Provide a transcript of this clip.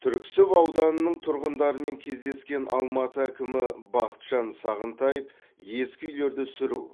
түрксіб ауданының тұрғындарымен кездескен алматы әкімі бақытжан сағынтаев ескі үйлерді сүру